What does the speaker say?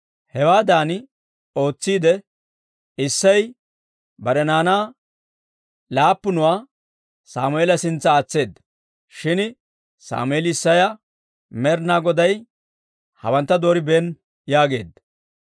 Hewaadan ootsiidde, Isseyi bare naanaa laappunuwaa Sammeela sintsa aatseedda; shin Sammeeli Isseya, «Med'inaa Goday hawantta dooribeenna» yaageedda.